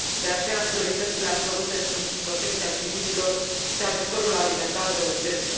De aceea, prioritățile absolute sunt protecția civililor și ajutorul alimentar de urgență.